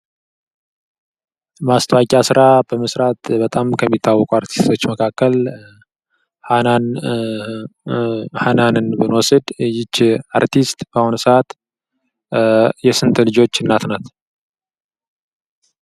የማስታወቂያ ሥራ በመስራት ከሚታወቁ አርቲስቶች መካከል ሃናንን ብንወስድ ይህች አርቲስት በአሁን ሰዓት የስንት ልጆች እናት ናት?